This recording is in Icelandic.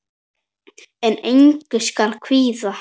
En engu skal kvíða.